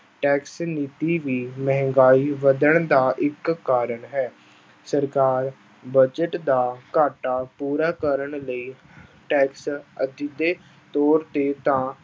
Tax ਨੀਤੀ ਵੀ ਮਹਿੰਗਾਈ ਵੱਧਣ ਦਾ ਇੱਕ ਕਾਰਨ ਹੈ, ਸਰਕਾਰ ਬਜਟ ਦਾ ਘਾਟਾ ਪੂਰਾ ਕਰਨ ਲਈ tax ਅਸਿੱਧੇ ਤੌਰ ਤੇ ਤਾਂ